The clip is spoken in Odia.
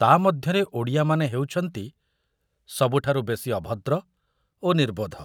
ତା ମଧ୍ୟରେ ଓଡ଼ିଆମାନେ ହେଉଛନ୍ତି ସବୁଠାରୁ ବେଶି ଅଭଦ୍ର ଓ ନିର୍ବୋଧ।